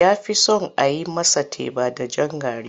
Ya fi son a yi masa teba da jan gari.